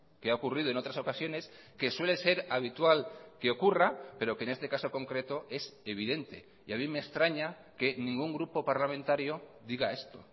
que ha ocurrido en otras ocasiones que suele ser habitual que ocurra pero que en este caso concreto es evidente y a mí me extraña que ningún grupo parlamentario diga esto